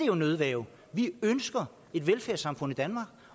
jo nødværge vi ønsker et velfærdssamfund i danmark